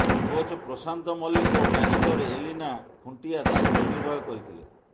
coach Prashant Mallick ଓ manager Elina Khuntia ଦାୟିତ୍ୱ ନିର୍ବାହ କରିଥିଲେ